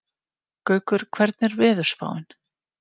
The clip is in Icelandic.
Gaukur, hvernig er veðurspáin?